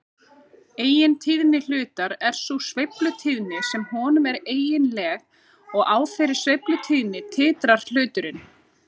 Eigintíðni hlutar er sú sveiflutíðni sem honum er eiginleg og á þeirri sveiflutíðni titrar hluturinn.